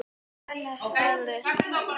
Annars slævist hún.